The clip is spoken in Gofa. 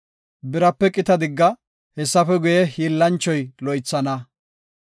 Birape qita digga; hessafe guye, hiillanchoy loythana.